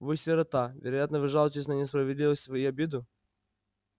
вы сирота вероятно вы жалуетесь на несправедливость и обиду